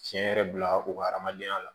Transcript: Tiɲɛ yɛrɛ bila u ka hadamadenya la